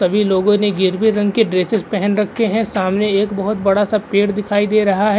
सभी लोगों ने गेरुवे रंग के ड्रेसेस पहन रखे हैं। सामने एक बोहोत बड़ा सा पेड़ दिखाई दे रहा है।